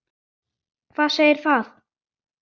Hvað segir það?